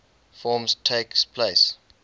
forms takes place